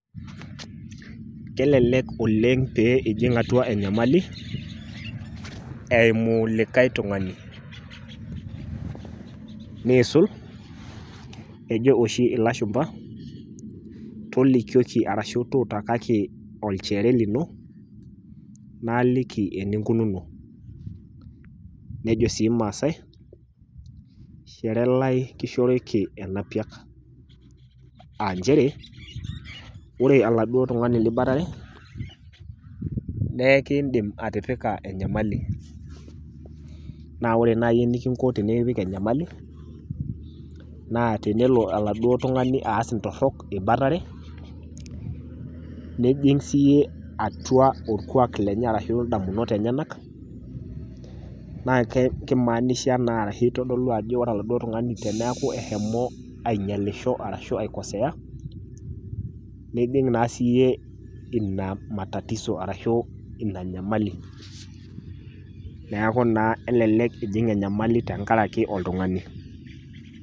Kelelek oleng pee ijing' atuaa enyamali, eimu likae tung'ani. Neisul, ejo ooshi ilashumba, tolikioki araki tuutakaki olchore lino, naaliki eninkununo. Nejo sii irmaasae shoore lai kishoriki enapiak. Aah inchere, oore oladuo tung'ani liboitare naa ekin'dim atipika enyamali. Naa oore naaji enikinko tenekipik enyamali, naa tenelo oladuo tung'ani aas intorok eboitare nijing siiyie atuaa orkuak lenye araki in'damunot enyenak, naa keimaanisha naa arashu eitodolu aajo oore oladuo tung'ani teniaku eshomo ainyialisho arashu aikosea, nijing naa siiyie iina matatizo araki enyamali. Niaku naa kelelek iijing enyamali tentiaraki oltung'ani.